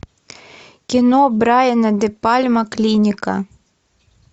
кино брайана де пальма клиника